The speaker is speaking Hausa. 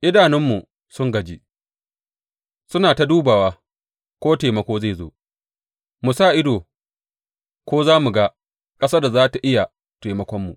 Idanunmu sun gaji, suna ta dubawa ko taimako zai zo; mu sa ido ko za mu ga ƙasar da za tă iya taimakon mu.